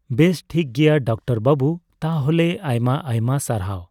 ᱵᱮᱥ ᱴᱷᱤᱠ ᱜᱮᱭᱟ ᱰᱟᱠᱛᱟᱨ ᱵᱟᱵᱩ ᱾ ᱛᱟᱦᱞᱮ ᱟᱭᱢᱟ ᱟᱭᱢᱟ ᱥᱟᱨᱦᱟᱣ !